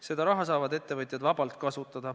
Seda raha saavad ettevõtjad vabalt kasutada.